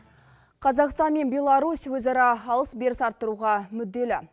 қазақстан мен беларусь өзара алыс беріс арттыруға мүдделі